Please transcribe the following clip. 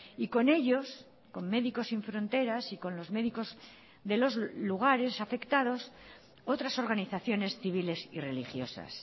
y con ellos con médicos sin fronteras y con los médicos de los lugares afectados otras organizaciones civiles y religiosas